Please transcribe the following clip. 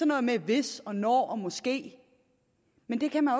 noget med hvis og når og måske men det kan man